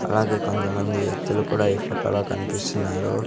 అలాగే కొంతమంది వ్యక్తులు కూడా ఈ ఫొటోలో కన్పిస్తున్నారు.